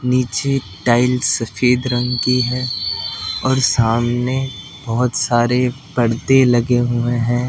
नीचे टाइल्स सफेद रंग की है और सामने बहुत सारे पर्दे लगे हुए हैं।